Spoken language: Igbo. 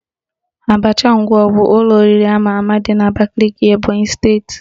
Abacha Nkwọgụ bụ ụlọ oriri ama ama dị n'Abakaliki Ebonyị steeti